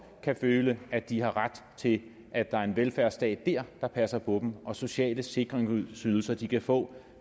kan føle at de har ret til at der er en velfærdsstat dér der passer på dem og sociale sikringsydelser de kan få